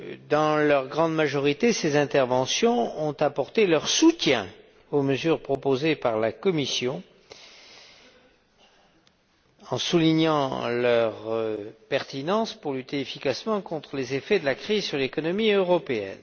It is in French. Dans leur grande majorité, ces interventions ont apporté leur soutien aux mesures proposées par la Commission, en soulignant leur pertinence pour lutter efficacement contre les effets de la crise sur l'économie européenne.